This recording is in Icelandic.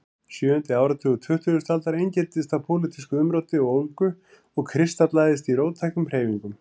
Sjöundi áratugur tuttugustu aldar einkenndist af pólitísku umróti og ólgu sem kristallaðist í róttækum hreyfingum.